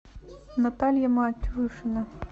наталья матюшина